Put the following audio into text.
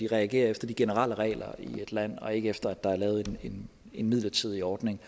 reagerer efter de generelle regler i et land og ikke efter at der er lavet en midlertidig ordning